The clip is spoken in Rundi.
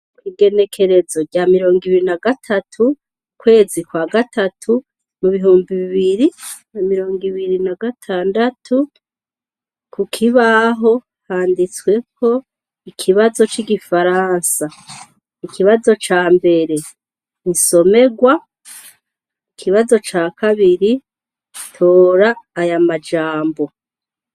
Igenekerezo rya mirongo ibiri nagatatu ukwezi kwa gatatu ibihumbi bibiri na mirongo ibiri n'agatandatu kukibaho handitsweko ikibazo c'igifaransa, ikibazo cambere nisomerwa, ikibazo ca kabiri tora aya majambo.